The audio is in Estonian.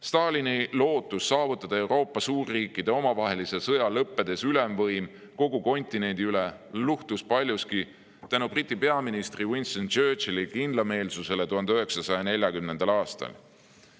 Stalini lootus saavutada Euroopa suurriikide omavahelise sõja lõppedes ülemvõim kogu kontinendi üle luhtus paljuski tänu Briti peaministri Winston Churchilli kindlameelsusele 1940. aastal.